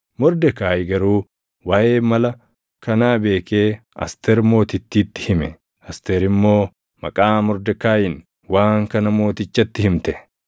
Mordekaayi garuu waaʼee mala kanaa beekee Asteer Mootittiitti hime; Asteer immoo maqaa Mordekaayiin waan kana mootichatti himte.